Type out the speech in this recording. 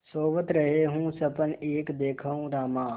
सोवत रहेउँ सपन एक देखेउँ रामा